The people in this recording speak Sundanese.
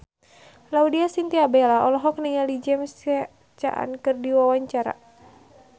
Laudya Chintya Bella olohok ningali James Caan keur diwawancara